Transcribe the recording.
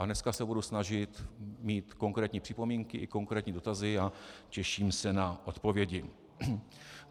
A dneska se budu snažit mít konkrétní připomínky i konkrétní dotazy a těším se na odpovědi.